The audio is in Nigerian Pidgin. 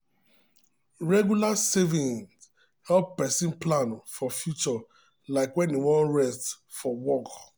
regular saving help person plan for future like when e wan rest from work.